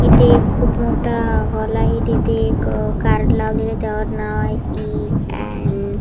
इथे एक खूप मोठा हॉल आहे तिथे एक कार्ड लावलेला आहे त्यावर नाव आहे इ अँड --